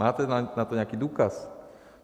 Máte na to nějaký důkaz?